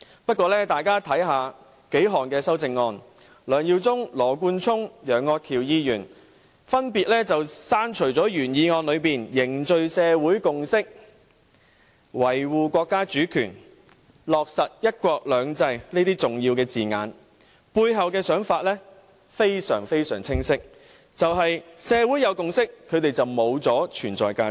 不過，大家只要看看數項修正案，便會發現梁耀忠議員、羅冠聰議員和楊岳橋議員分別刪除了原議案中"凝聚社會共識、維護國家主權、貫徹落實'一國兩制'"等重要字眼，背後的原因非常清晰，便是一旦社會有共識，他們便會失去存在價值。